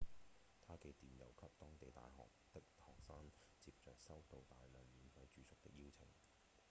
他寄電郵給當地大學的學生接著收到大量免費住宿的邀請